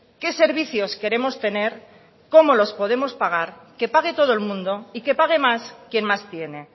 qué servicios queremos tener cómo los podemos pagar que pague todo el mundo y que pague más quien más tiene